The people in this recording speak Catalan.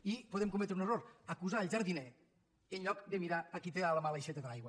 i podem cometre un error acusar el jardiner en lloc de mirar a qui té a la mà l’aixeta de l’aigua